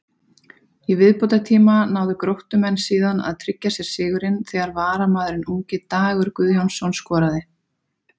Í viðbótartíma náðu Gróttumenn síðan að tryggja sér sigurinn þegar varamaðurinn ungi Dagur Guðjónsson skoraði.